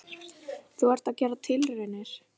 Þú ert að gera hér tilraunir?